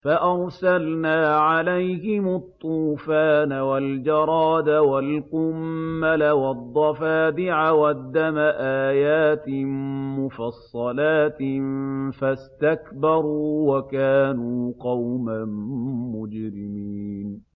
فَأَرْسَلْنَا عَلَيْهِمُ الطُّوفَانَ وَالْجَرَادَ وَالْقُمَّلَ وَالضَّفَادِعَ وَالدَّمَ آيَاتٍ مُّفَصَّلَاتٍ فَاسْتَكْبَرُوا وَكَانُوا قَوْمًا مُّجْرِمِينَ